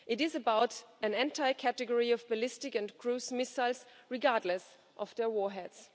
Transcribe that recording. It is about an entire category of ballistic and cruise missiles, regardless of their warheads.